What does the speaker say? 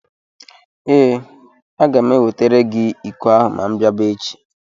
Ee, aga m ewetara gị iko ahụ ma m bịaba echi.